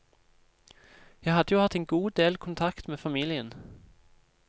Jeg hadde jo hatt en god del kontakt med familien.